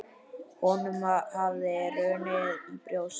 Honum hafði runnið í brjóst.